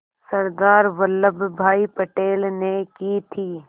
सरदार वल्लभ भाई पटेल ने की थी